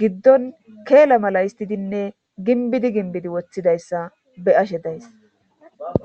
giddon keela mala istidinne ginbidi ginbidi woththidayssa be ashe days.